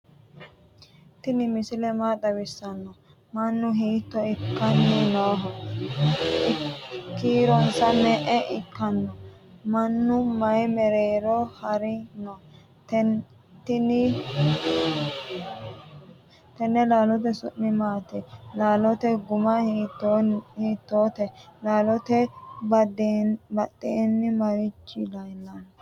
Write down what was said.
tini misile maa xawisano? manu hito ikani noho? kiironsa me"e ikkano? manu mayi mereroni harani no?tine lalote su'mi maati? lalote guma hitote? lalote badeni marichi lelano?